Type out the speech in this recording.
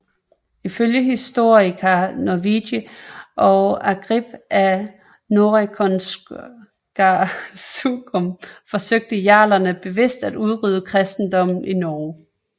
Ifølge Historia Norwegie og Ágrip af Nóregskonungasögum forsøgte jarlerne bevidst at udrydde kristendommen i Norge